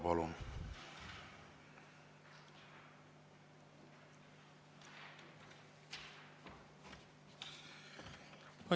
Palun!